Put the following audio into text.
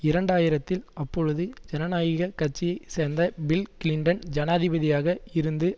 இரண்டு ஆயிரத்தில் அப்பொழுது ஜனநாயக கட்சியை சேர்ந்த பில் கிளின்டன் ஜனாதிபதியாக இருந்து